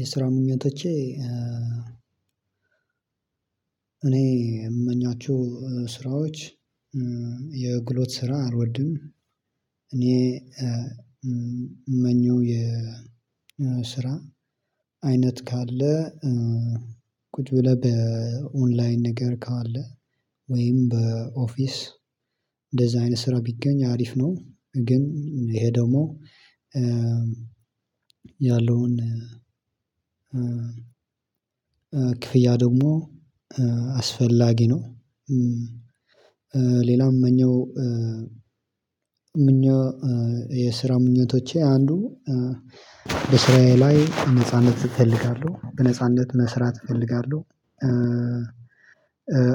የስራ ምኞቶቼ እኔ የምመኛቸው ስራዎች የጉልበት ስራ አልወድም። እኔ እምመኘው የስራ አይነት ካለ ቁጭ ብለህ በኦንላይን ነገር ካለ ወይም በኦፊስ እንደዚህ አይነት ስራ ቢገኝ አሪፍ ነው። ግን ይሄ ደግሞ ያለውን ክፍያ ደግሞ አስፈላጊ ነው። ሌላ እምመኘው የስራ ምኞቶቼ አንዱ በእስራየ ላይ ነጻነት እፈልጋለሁ በነጻነት መስራት እፈልጋለሁ።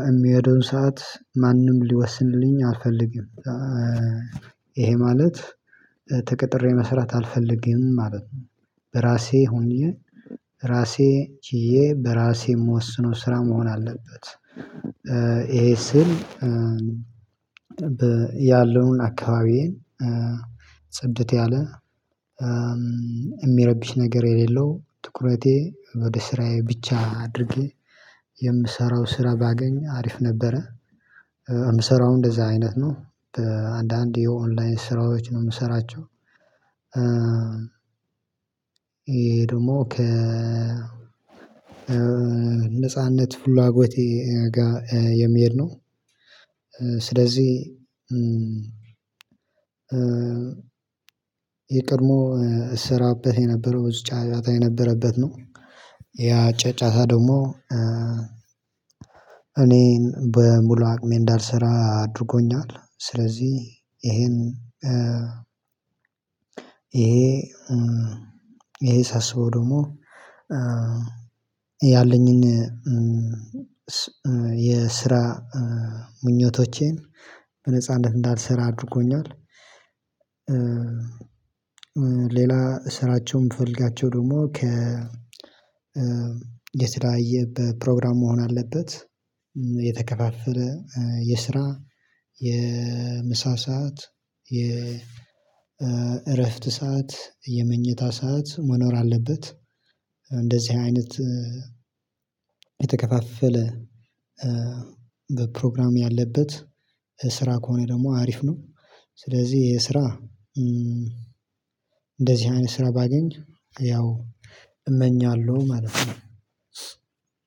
የሚሄደውን ሰዓት ማንም ሊወስንልኝ አልፈልግም። ይሄ ማለት ተቀጥሬ መስራት አልፈልግም ማለት ነው። ራሴ ሆኜ ራሴ ችዬ በራሴ የምወስነው ስራ መሆን አለበት። ይሄ ስል ያለውን አካባቢዬን ጽድት ያለ የሚያረብሽ ነገር የሌለው ትኩረቴ ወደ ስራዬ ብቻ አድርጌ የምሰራው ስራ ባገኝ አሪፍ ነበረ። የምሰራው እንደዛ አይነት ነው በአንዳንድ የኦንላይን ስራዎች ነው የምሰራቸው። የሄ ደግሞ ከ ነጻነት ፍላጎቴ ጋር የሚሄድ ነው። ስለዚህ የቀድሞ እሰራበት የነበረው ብዙ ጫጫታ የነበረበት ነው። ያ ጫጫታ ደግሞ እኔን በሙሉ አቅሜ እንዳልሰራ አድርጎኛል። ስለዚህ ይሄን ይሄ ይሄ ሳስበው ደግሞ ያለኝን የ የስራ ምኞቶቼን በነጻነት እንዳልሰራ አድርጎኛል። ሌላ ስራቸውን የምፈልጋቸው ደግሞ ከ የስራ በፕሮግራም መሆን አለበት። የተከፋፈለ የስራ የምሳ ሰዓት የእረፍት ሰዓት የመኝታ ሰዓት መኖር አለበት። እንደዚህ አይነት የተከፋፈለ በፕሮግራም ያለበት ስራ ከሆነ ደግሞ አሪፍ ነው። ስለዚህ ይሄ ስራ እንደዚህ አይነት ስራ ባገኝ ያው እመኛለሁ ማለት ነው።